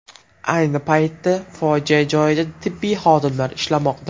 Ayni paytda fojia joyida tibbiy xodimlar ishlamoqda.